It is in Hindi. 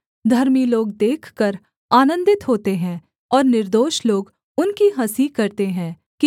धर्मी लोग देखकर आनन्दित होते हैं और निर्दोष लोग उनकी हँसी करते हैं कि